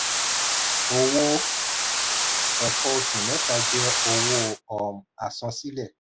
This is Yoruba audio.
owó ẹ̀kọ́ oṣù mẹ́ta jẹ owó um àsansílẹ̀.